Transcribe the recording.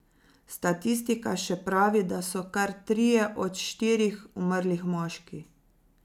Statistika še pravi, da so kar trije od štirih umrlih moški.